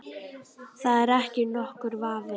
Það er ekki nokkur vafi.